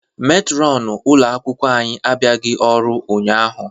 Metronụ ụlo akwụkwọ anyị abịaghị ọrụ ụnyaahụ.